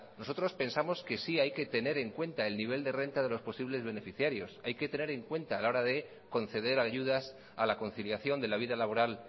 nosotros pensamos que sí hay que tener en cuenta el nivel de renta de los posibles beneficiarios hay que tener en cuenta a la hora de conceder ayudas a la conciliación de la vida laboral